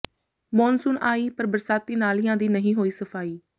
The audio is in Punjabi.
ਮੌਨਸੂਨ ਆਈ ਪਰ ਬਰਸਾਤੀ ਨਾਲਿਆਂ ਦੀ ਨਹੀਂ ਹੋਈ ਸਫ਼ਾਈ